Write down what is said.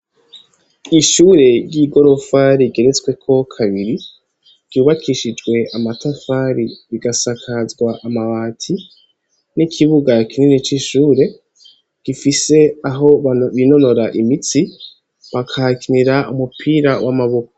Ishure ryigorofa rigeretsweko kabiri ryubakishijwe amatafari rikasakazwa amabati nikibuga kinini cishure gifise aho binonora imitsi bakahakinira umupira wamaboko